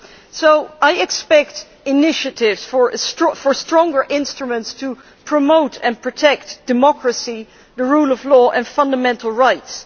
So I expect initiatives for stronger instruments to promote and protect democracy, the rule of law and fundamental rights.